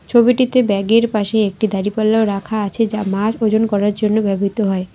ছবিটিতে ব্যাগের পাশে একটি দাঁড়িপাল্লাও রাখা আছে যা মাছ ওজন করার জন্য ব্যবহৃত হয়।